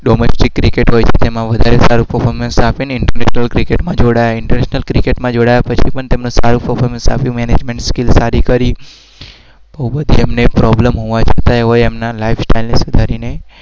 domestic cricket હોય એમાં